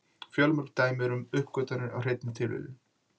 Fjölmörg dæmi eru um uppgötvanir af hreinni tilviljun.